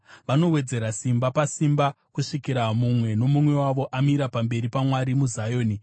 Vanowedzera simba pasimba, kusvikira mumwe nomumwe wavo amira pamberi paMwari muZioni.